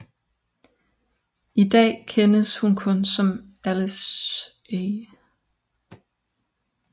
I da kendes hun som Alice A